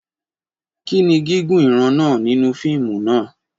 Kí ni gígùn ìran náà nínú fíìmù náà?